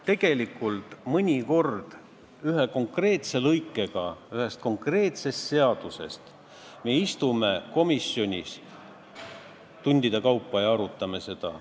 Tegelikult me istume mõnikord ühe konkreetse lõikega ühest konkreetsest seadusest komisjonis tundide kaupa ja arutame seda.